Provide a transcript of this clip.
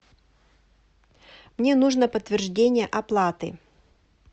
мне нужно подтверждение оплаты